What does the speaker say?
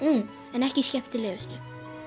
en ekki skemmtilegustu